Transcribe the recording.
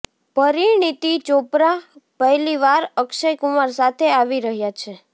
પરિણીતી ચોપરા પહેલી વાર અક્ષય કુમાર સાથે આવી રહ્યાં છે